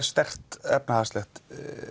sterkt efnahagslegt